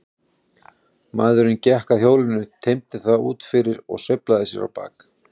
Maðurinn gekk að hjólinu, teymdi það út fyrir og sveiflaði sér á bak.